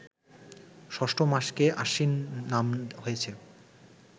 ৬ষ্ঠ মাসকে আশ্বিন নাম হয়েছে